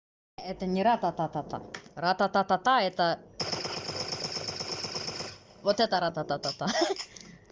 это не рататата рататата это вот это ратататата